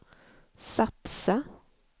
satsa